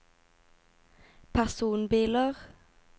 personbiler